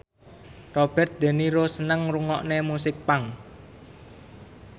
Robert de Niro seneng ngrungokne musik punk